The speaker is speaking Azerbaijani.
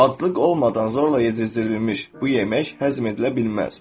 Adlıq olmadan zorla yedirdilmiş bu yemək həzm edilə bilməz.